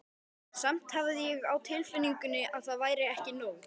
Samt hafði ég á tilfinningunni að það væri ekki nóg.